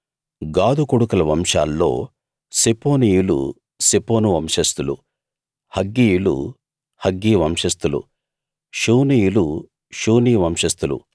గాదు కొడుకుల వంశాల్లో సెపోనీయులు సెపోను వంశస్థులు హగ్గీయులు హగ్గీ వంశస్థులు షూనీయులు షూనీ వంశస్థులు